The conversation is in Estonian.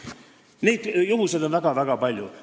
Niisuguseid juhtumeid on väga-väga palju.